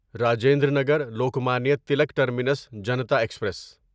Rajendra Nagar Lokmanya Tilak terminus Janta express